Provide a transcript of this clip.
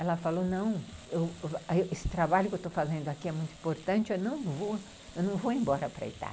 Ela falou, não, esse trabalho que eu estou fazendo aqui é muito importante, eu não vou embora para a Itália.